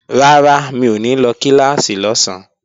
Rárá, mi ò ní lọ kíláàsì lọ́sán